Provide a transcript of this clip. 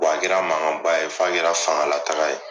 Bɔn a kɛra mankanba ye f'a kɛra fanga la taga ye